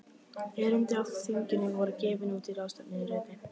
Erindi á þinginu voru gefin út í ráðstefnuriti.